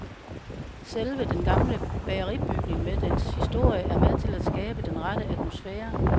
Selve den gamle bageribygning med dens historie er med til at skabe den rette atmosfære.